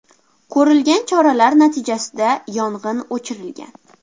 Ko‘rilgan choralar natijasida yong‘in o‘chirilgan.